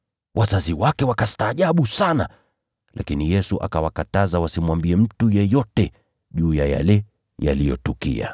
Wazazi wake wakastaajabu sana, lakini Yesu akawakataza wasimwambie mtu yeyote juu ya yale yaliyotukia.